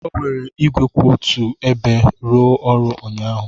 O were igwe kwụ otu ebe rụọ ọrụ ụnyaahụ.